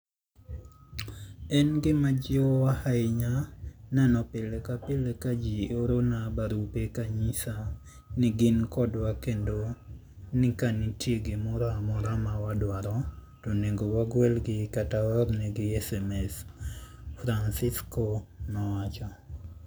En gima jiwowa ahinya neno pile ka pile ka ji oorona barupe ka ginyisa ni gin kodwa kendo ni ka nitie gimoro amora ma wadwaro, to onego wagwelgi kata waornegi sms, Francisco nowacho.